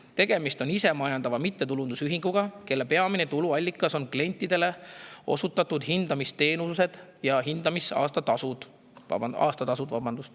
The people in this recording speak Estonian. Tegemist on isemajandava mittetulundusühinguga, mille peamised tuluallikad on klientidele osutatud hindamisteenused ja aastatasud.